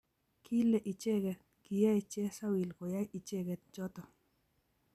kile icheke kiyei chesawil koyai icheke choto